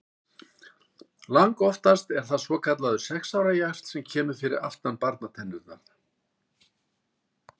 Langoftast er það svokallaður sex ára jaxl sem kemur fyrir aftan barnatennurnar.